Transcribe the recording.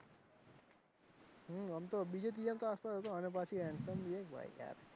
હમમ બીજા તીજા માં આવતો હશે અને પાછો handsome ને ભાઈ યાર,